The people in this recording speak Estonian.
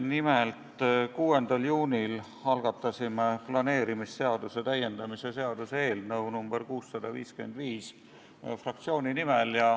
Nimelt, 6. juunil algatasime fraktsiooni nimel planeerimisseaduse täiendamise seaduse eelnõu nr 655.